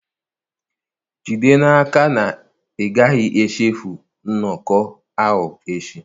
Jide n'aka na ị gaghị echefu nnọkọ ahụ echi.